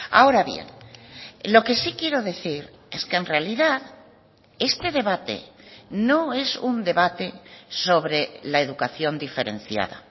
ahora bien lo que sí quiero decir es que en realidad este debate no es un debate sobre la educación diferenciada